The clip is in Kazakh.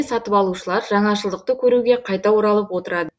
сатып алушылар жаңашылдықты көруге қайта оралып отырады